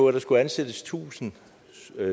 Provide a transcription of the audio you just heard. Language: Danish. at der skulle ansættes tusind